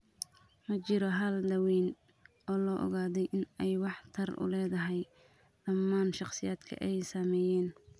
Ma jiro hal daaweyn oo la ogaaday in ay waxtar u leedahay dhammaan shakhsiyaadka ay saameeyeen.